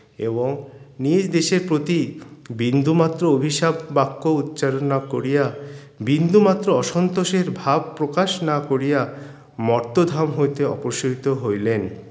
এবং নিজ দেশের প্রতি বিন্দুমাত্র অভিশাপ বাক্য উচ্চারণ না করিয়া বিন্দুমাত্র অসন্তোষের ভাব প্রকাশ না করিয়া মর্তধাম হইতে অপসৃত হইলেন